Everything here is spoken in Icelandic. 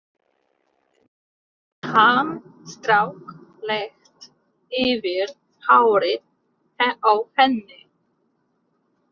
Hann strauk létt yfir hárið á henni.